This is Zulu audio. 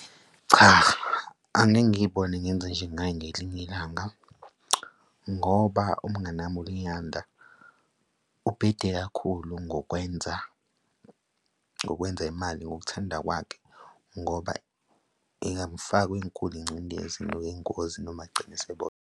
Cha, angeke ngiy'bone ngenze njengaye ngelinye ilanga, ngoba umnganami uLiyanda ubhede kakhulu ngokwenza, ngokwenza imali ngokuthanda kwakhe ngoba ingamufaka kwenkulu ingcindezi ngokwengozi noma agcine sebona.